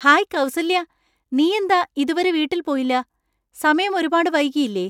Hi Kausalya, നീ എന്താ ഇതുവരെ വീട്ടിൽ പോയില്ല? സമയം ഒരുപാട് വൈകിയില്ലേ?